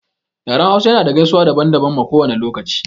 Yaren hausa ya na da gaisuwa daban daban ma kowane lokaci